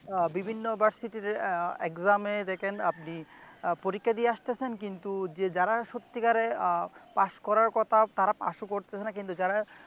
বিভিন্ন ভার্সিটিয়ের আহ exam দেখেন আপনি পরীক্ষা দিয়ে আসতেছেন কিন্তু যারা সত্যিকারে আহ পাস করার কথা তারা পাসও করতেছেনা কিন্তু যারা